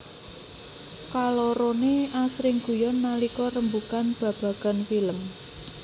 Kaloroné asring guyon nalika rembugan babagan film